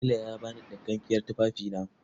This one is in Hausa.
Tela ya ba ni ɗinkakkiyar tufafina.